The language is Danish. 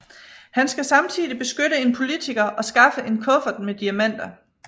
Han skal samtidig beskytte en politiker og skaffe en kuffert med diamanter